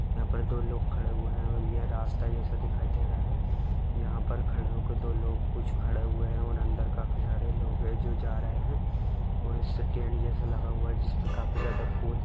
यहाँ पर दो लोग खड़े हुए है और यह रास्ता जैसे दिखाई दे रहा है यहाँ पर खड़े हो के दो लोग कुछ खड़े हुए है और अंदर काफी सारे लोग है जो जा रहे है और इससे टेंट जैसा लगा हुआ है जिसपे काफी ज्यादा फूल --